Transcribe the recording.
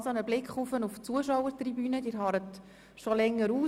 Ich blicke auf die Zuschauertribüne und sehe, dass Sie schon länger ausharren.